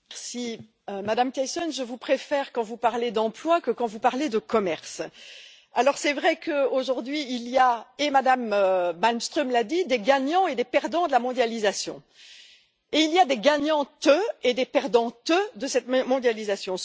Madame la Présidente, Madame Thyssen, je vous préfère quand vous parlez d'emploi que quand vous parlez de commerce. C'est vrai qu'aujourd'hui il y a et Mme Malmström l'a dit des gagnants et des perdants de la mondialisation et il y a des gagnantes et des perdantes de cette même mondialisation.